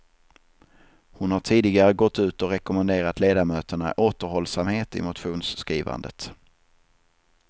Hon har tidigare gått ut och rekommenderat ledamöterna återhållsamhet i motionsskrivandet.